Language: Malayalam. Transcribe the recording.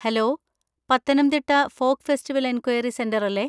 Hello, Pathanamthitta folk festival enquiry centre അല്ലേ?